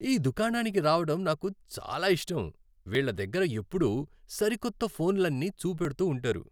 ఈ దుకాణానికి రావడం నాకు చాలా ఇష్టం. వీళ్ళ దగ్గర ఎప్పుడూ సరికొత్త ఫోన్లన్నీచూపెడుతూ ఉంటారు.